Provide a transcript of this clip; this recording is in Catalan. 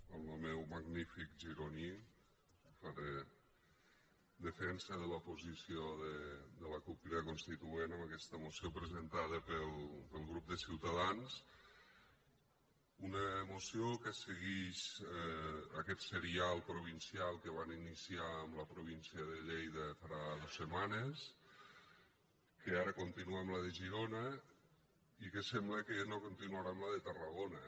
amb lo meu magnífic gironí faré defensa de la posició de la cup crida constituent en aquesta moció presentada pel grup de ciutadans una moció que seguix aquest serial provincial que van iniciar amb la província de lleida farà dos setmanes que ara continua amb la de girona i que sembla que no continuarà amb la de tarragona